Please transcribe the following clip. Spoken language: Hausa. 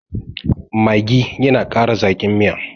maggi yana Kara Zaki. Miya